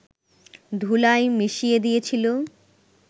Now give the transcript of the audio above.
ধুলায় মিশিয়ে দিয়েছিল